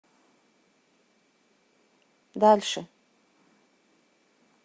дальше